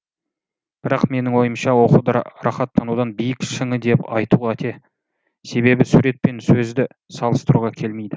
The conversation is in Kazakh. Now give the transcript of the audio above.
бірақ менің ойымша оқуды рахаттанудың биік шыңы деп айту қате себебі сурет мен сөзді салыстыруға келмейді